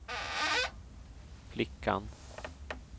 flickan